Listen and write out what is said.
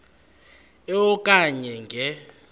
e okanye nge